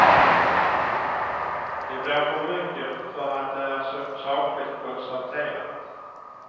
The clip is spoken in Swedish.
Det blir för mycket för att det är så sakligt konstaterat.